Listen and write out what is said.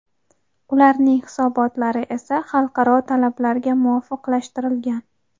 ularning hisobotlari esa xalqaro talablarga muvofiqlashtirilgan.